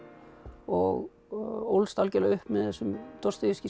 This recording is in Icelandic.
og ólst algjörlega upp með þessum